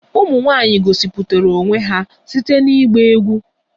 Ụmụ nwanyị gosipụtara onwe ha site na ịgba egwú